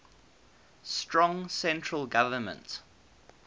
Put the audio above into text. strong central government